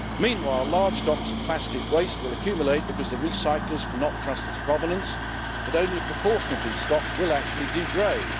Meanwhile large stocks of plastic waste will accumulate because the recyclers cannot trust its provenance, but only a proportion of these stocks will actually degrade.